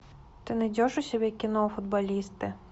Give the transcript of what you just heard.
ты найдешь у себя кино футболисты